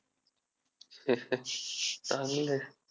चांगलं आहे.